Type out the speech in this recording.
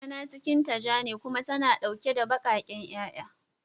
Kankana cikinta ja ne kuma tana dauke da bakaken 'ya'ya.